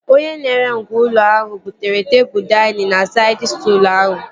Onye na-ere ngwá ụlọ ahụ butere tebụl dainịn na saịd stụlụ ahụ